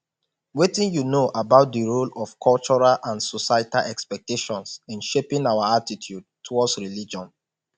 wetin you know about di role of cultural and societal expectations in shaping our attitude towards religion